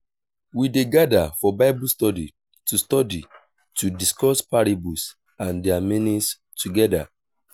we dey gather for bible study to study to discuss parables and their meanings together.